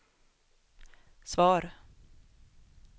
svar